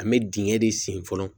An bɛ dingɛ de sen fɔlɔ